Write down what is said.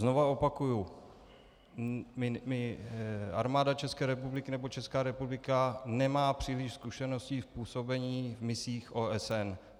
Znovu opakuji, Armáda České republiky nebo Česká republika nemá příliš zkušeností s působením v misích OSN.